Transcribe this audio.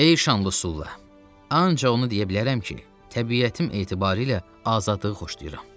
Ey şanlı Sulla, ancaq onu deyə bilərəm ki, təbiətim etibarı ilə azadlığı xoşlayıram.